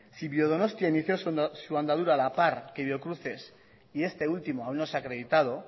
si biodonostia inició su andadura a la par que biocruces y este último aún no se ha acreditado